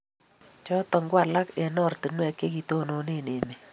chotok ko alak eng' oratinwek che kitonone emet